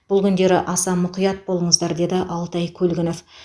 бұл күндері аса мұқият болыңыздыр деді алтай көлгінов